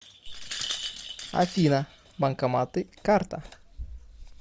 афина банкоматы карта